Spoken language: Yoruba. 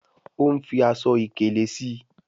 o ń fí Aṣọ ìkèlé sí.